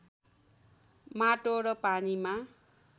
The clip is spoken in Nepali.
माटो र पानीमा